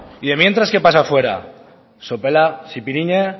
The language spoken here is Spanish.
y de mientras qué pasa fuera sopela